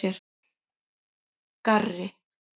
Garri